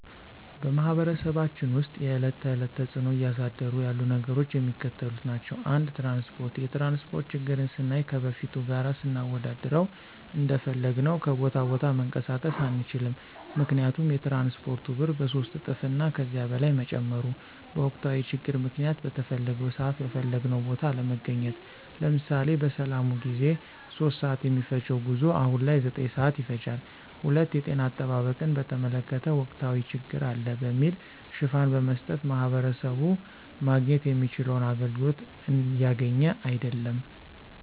በማህበረሰባችን ውስጥ የዕለት ተዕለት ተፅዕኖ እያሳደሩ ያሉ ነገሮች የሚከተሉት ናቸው። ፩) ትራንስፓርት፦ የትራንስፓርት ችግርን ስናይ ከበፊቱ ጋር ስናወዳድረው እንደፈለግን ከቦታ ቦታ መንቀሳቀስ አንችልም ምክንያቱም የትራንስፓርቱ ብር በሶስት እጥፍ እና ከዚያ በላይ መጨመሩ፤ በወቅታዊ ችግር ምክንያት በተፈለገው ስዓት በፈለግንው ቦታ አለመገኘት። ለምሳሌ፦ በሰላሙ ጊዜ 3:00 ስዓት የሚፈጅው ጉዞ አሁን ላይ 9:00 ስዓት ይፈጃል። ፪) የጤና አጠባበቅን በተመለከተ ወቅታዊ ችግር አለ በሚል ሽፋን በመስጠት ማህበረሰቡ ማግኘት የሚችለውን አገልግሎት እያገኘ አይድለም።